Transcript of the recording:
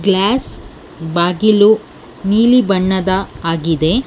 Glass ಬಾಗಿಲು ನೀಲಿ ಬಣ್ಣದ ಆಗಿದೆ.